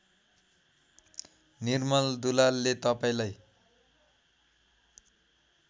निर्मल दुलालले तपाईँलाई